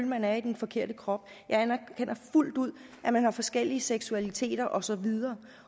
man er i den forkerte krop jeg anerkender fuldt ud at man har forskellige seksualiteter og så videre